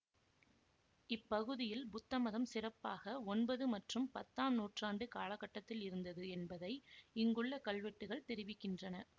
இப்பகுதியில் புத்தமதம் சிறப்பாக ஒன்பது மற்றும் பத்தாம் நூற்றாண்டு காலகட்டத்தில் இருந்தது என்பதை இங்குள்ள கல்வெட்டுகள் தெரிவிக்கின்றன